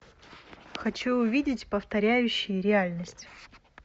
хочу увидеть повторяющие реальность